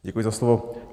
Děkuji za slovo.